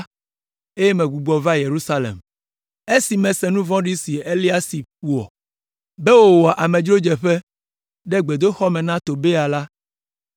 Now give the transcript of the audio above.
eye megbugbɔ va Yerusalem. Esi mese nu vɔ̃ɖi si Eliasib wɔ, be wòwɔ amedzrodzeƒe ɖe gbedoxɔ me na Tobia la,